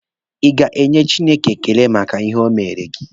Ị ga-enye Chineke ekele maka ihe o mere gị?